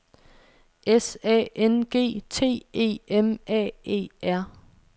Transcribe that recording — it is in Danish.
S A N G T E M A E R